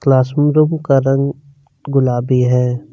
Class room का रंग गुलाबी है।